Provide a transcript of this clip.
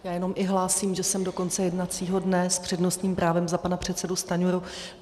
Já jenom i hlásím, že jsem do konce jednacího dne s přednostním právem za pana předsedu Stanjuru.